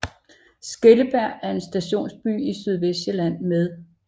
Skellebjerg er en stationsby i Sydvestsjælland med